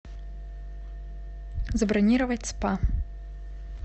забронировать спа